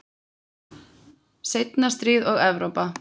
Seinna stríð og Evrópa